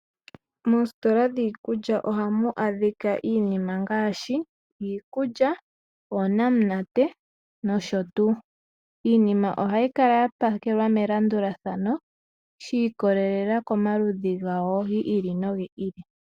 Moositola dhiikulya ohamu adhika iinima ngaashi, iikulya, oonamunate, nosho tuu. Iinima ohayi kala ya pakelwa melandulathano, shi ikolelela komaludhi gayo, gi ili nogi ili.